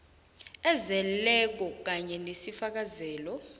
ezeleko kanye nesifakazelo